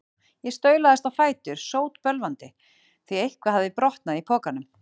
Ég staulaðist á fætur, sótbölvandi, því eitthvað hafði brotnað í pokunum.